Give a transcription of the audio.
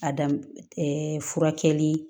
A daminɛ furakɛli